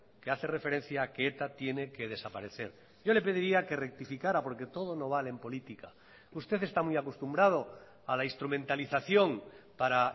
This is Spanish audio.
que hace referencia a que eta tiene que desaparecer yo le pediría que rectificara porque todo no vale en política usted está muy acostumbrado a la instrumentalización para